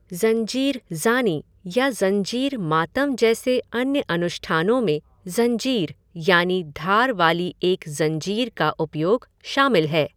ज़ंजीर ज़ानी या ज़ंजीर मातम जैसे अन्य अनुष्ठानों में ज़ंजीर यानि धार वाली एक ज़ंजीर का उपयोग शामिल है।